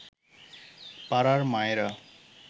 পাড়ার মায়েরা